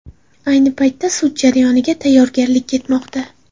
Ayni paytda sud jarayoniga tayyorgarlik ketmoqda.